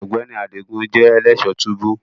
Ọgbẹni Adigun jẹ elẹṣọ tubu